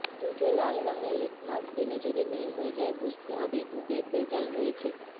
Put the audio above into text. দুধে লাল রঙের লিটমাস দিলে যদি নীল হয়ে যায় বুঝতে হবে দুদে ভেজাল রয়েছে